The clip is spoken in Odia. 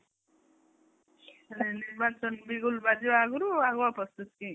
ମାନେ ନିର୍ବାଚନ ବାଜିବା ଆଗରୁ ତୁ ଆଗୁଆ ପ୍ରସ୍ତୁତ କି ?